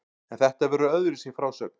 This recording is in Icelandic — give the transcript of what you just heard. En þetta verður öðruvísi frásögn.